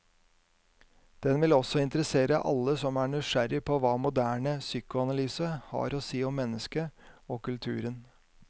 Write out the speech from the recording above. Den vil også interessere alle som er nysgjerrig på hva moderne psykoanalyse har å si om mennesket og kulturen.